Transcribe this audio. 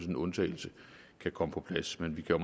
en undtagelse kan komme på plads men vi kan